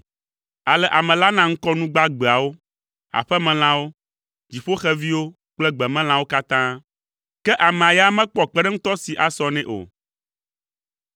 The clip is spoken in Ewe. Ale ame la na ŋkɔ nu gbagbeawo, aƒemelãwo, dziƒoxeviwo kple gbemelãwo katã. Ke amea ya mekpɔ kpeɖeŋutɔ si asɔ nɛ o.